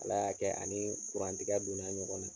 Ala y'a kɛ a ni tigɛ don na ɲɔgɔn na.